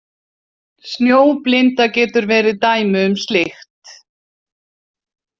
Snjóblinda getur verið dæmi um slíkt.